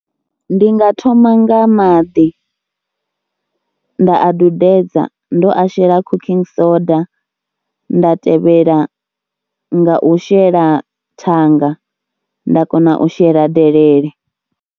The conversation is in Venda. Ndi nga thoma nga maḓi, nda a dudedza ndo a shela cooking soda, nda tevhela nga u shela thanga nda kona u shela delele.